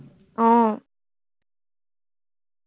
আহ